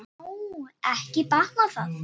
Vá, ekki batnar það!